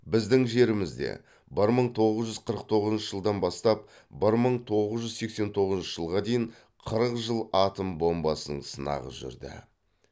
біздің жерімізде бір мың тоғыз жүз қырық тоғызыншы жылдан бастап бір мың тоғыз жүз сексен тоғызыншы жылға дейін қырық жыл атом бомбасының сынағы жүрді